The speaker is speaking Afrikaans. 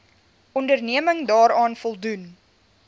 onderneming daaraan voldoen